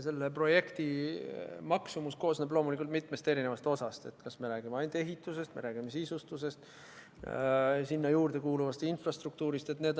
Selle projekti maksumus koosneb loomulikult mitmest eri osast: kas me räägime ainult ehitusest või me räägime ka sisustusest ja haigla juurde kuuluvast infrastruktuurist?